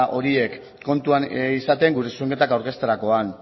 horiek kontuan izaten gure zuzenketak aurkezterakoan